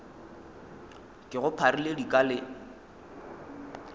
ke go pharile dika le